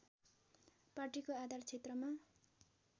पार्टीको आधार क्षेत्रमा